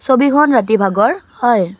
ছবিখন ৰাতি ভাগৰ হয়।